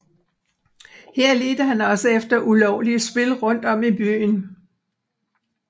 Her ledte han også efter ulovlige spil rundt om i byen